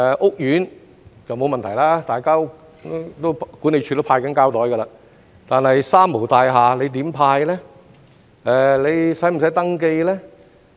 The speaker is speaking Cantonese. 屋苑就沒有問題，管理處已在派發膠袋，但在"三無大廈"，局方又如何派發呢？